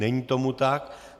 Není tomu tak.